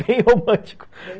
Bem romântico.